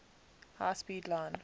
high speed line